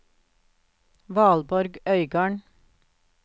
Valborg Øygarden